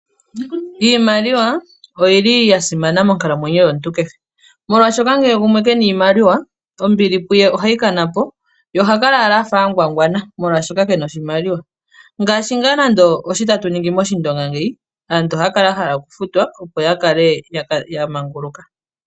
Iimaliwa oyili yasimana monkalamwenyo yomuntu keshe, molwashoka ngele gumwe kena iimaliwa, ombili kuye ohayi kanapo ye ohakala afa agwagwana molwashoka kena oshimaliwa, ngashi ngaa nando oshitatu ningi moshindonga ngeyi, aantu ohaya kala yahala okufutwa opo yamanguluke.